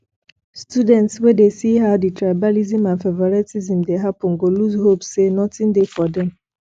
student wey dey see how di tribalism and favouritism dey happen go loose hope sey nothing dey for them